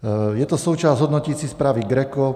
Je to součást hodnoticí zprávy GRECO.